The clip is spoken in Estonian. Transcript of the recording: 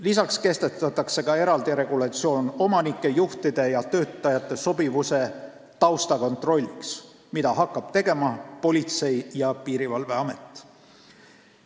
Lisaks kehtestatakse eraldi regulatsioon omanike, juhtide ja töötajate sobivuse taustakontrolliks, mida hakkab tegema Politsei- ja Piirivalveamet.